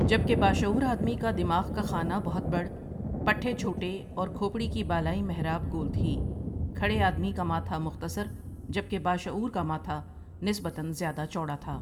جب کہ باشعور آدمی کا دماغ کا خانہ بہت بڑٓ، پٹھے چھوٹے اور کھوپڑی کی بالائی محراب گول تھی کھڑے آدمی کا ماتھا مختصر جب کہ باشعور کا ماٹھا نسبتاً زیادہ چوڑا تھا ۔